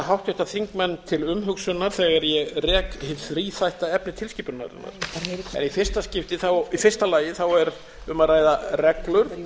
háttvirtir þingmenn til umhugsunar þegar ég rek hið þríþætta efni tilskipunarinnar í fyrsta lagi er um að ræða reglur